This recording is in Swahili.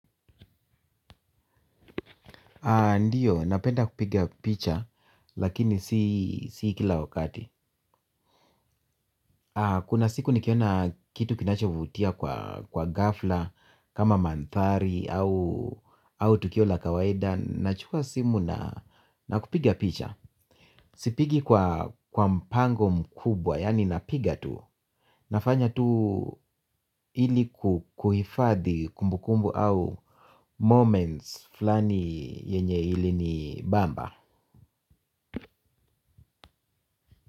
Ndiyo, napenda kupiga picha lakini si kila wakati. Kuna siku nikiona kitu kinachovutia kwa ghafla kama mandhari au tukio la kawaida. Nachukua simu na kupiga picha. Sipigi kwa mpango mkubwa, yani napiga tu. Nafanya tu ili kuhifadhi kumbukumbu au moments flani yenye ili ni bamba.